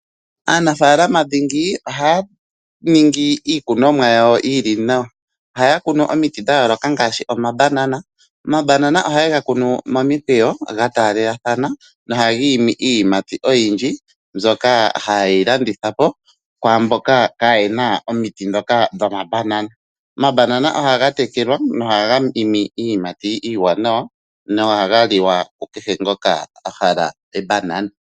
Aanafaalama dhingi ohaya ningi iinima yawo yi li nawa . Ohaya kunu omiti dha yooloka ngaaashi omabanana. Omabanana oha ye ga kunu momikweyo ga taalelathana no haga imi iiyimati oyindji mbyoka hayi landithwa po kwaamboka kaye na omiti ndhoka dho mabanana . Omabanana ohaga tekelwa nohaga imi iiyimati iiwanawa no haga liwa kukehe ngoka ahala ebanana.